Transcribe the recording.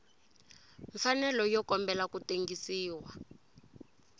mfanelo yo kombela ku tengisiwa